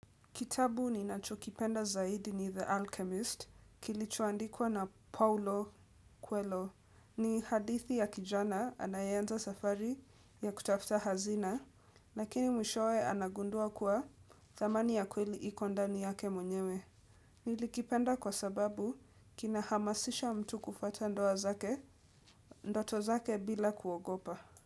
Kitabu ninachokipenda zaidi ni The Alchemist, kilichoandikwa na Paulo Quelo. Ni hadithi ya kijana anayeanza safari ya kutafuta hazina, lakini mwishowe anagundua kuwa thamani ya kweli iko ndani yake mwenyewe. Nilikipenda kwa sababu kinahamasisha mtu kufuata ndoa zake, ndoto zake bila kuogopa.